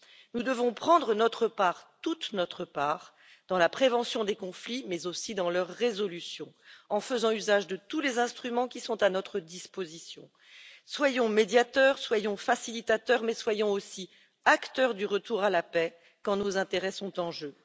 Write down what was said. Nous devons prendre notre part, toute notre part, dans la prévention des conflits mais aussi dans leur résolution, en faisant usage de tous les instruments qui sont à notre disposition. Soyons médiateurs, soyons facilitateurs mais soyons aussi acteurs du retour à la paix quand nos intérêts sont en jeu.